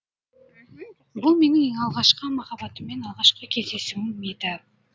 бұл менің алғашқы махаббатыммен алғашқы кездесуім еді